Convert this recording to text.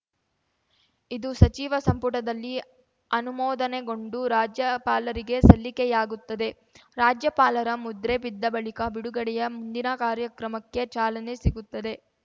ಇದು ಸಚಿವ ಸಂಪುಟದಲ್ಲಿ ಅನುಮೋದನೆಗೊಂಡು ರಾಜ್ಯಪಾಲರಿಗೆ ಸಲ್ಲಿಕೆಯಾಗುತ್ತದೆ ರಾಜ್ಯಪಾಲರ ಮುದ್ರೆ ಬಿದ್ದ ಬಳಿಕ ಬಿಡುಗಡೆಯ ಮುಂದಿನ ಕಾರ್ಯಕ್ರಮಕ್ಕೆ ಚಾಲನೆ ಸಿಗುತ್ತದೆ